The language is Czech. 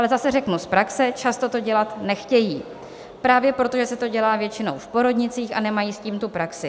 Ale zase řeknu z praxe, často to dělat nechtějí, právě protože se to dělá většinou v porodnicích, a nemají s tím tu praxi.